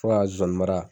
Fo ka zonzannin mara